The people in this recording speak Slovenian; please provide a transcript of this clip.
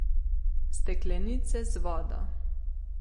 Steklenice z vodo.